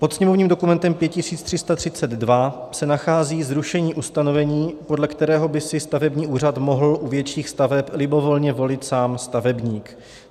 Pod sněmovním dokumentem 5332 se nachází zrušení ustanovení, podle kterého by si stavební úřad mohl u větších staveb libovolně volit sám stavebník.